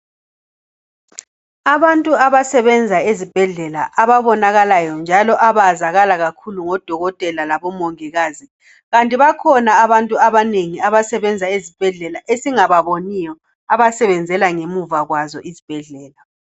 Abantu abasebenza ezibhedlela ababonakalayo njalo abazakala kakhulu ngodokotela labomongikazi. Kanti bakhona abantu abanengi abasebenza ezibhedlela esingababoniyo abasebenzela ngemuva kwazo izibhedlela.